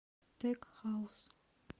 тек хаус